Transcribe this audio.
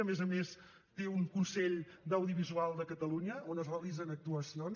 a més a més té un consell d’audiovisual de catalunya on es realitzen actuacions